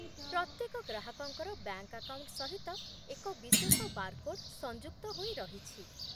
ପ୍ରତ୍ୟେକ ଗ୍ରାହକଙ୍କର bank account ସହିତ ଏକ ବିଶେଷ ବାରକୋଡ୍ ସଂଯୁକ୍ତ ହୋଇ ରହିଛି